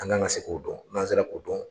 An kan ka se k'o dɔn n'an sera k'u dɔn.